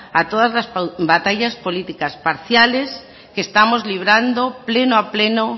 a todas las batallas políticas parciales que estamos librando pleno a pleno